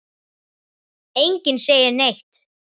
Enginn segir neitt.